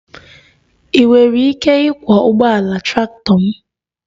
Ị nwere ike ịkwọ ụgbọala traktọ m?